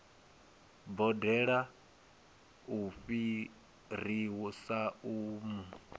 boḓelo u fhirisa u mu